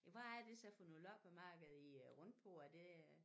Hvad er det så for noget loppemarked i er rundt på er det øh